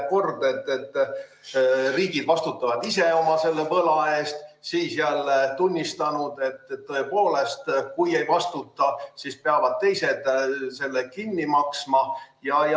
Kord olete öelnud, et riigid vastutavad ise oma võla eest, siis jälle tunnistanud, et tõepoolest, kui ei vastuta, siis peavad teised selle kinni maksma.